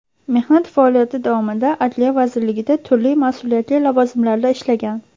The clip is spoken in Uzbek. Mehnat faoliyati davomida Adliya vazirligida turli mas’uliyatli lavozimlarda ishlagan.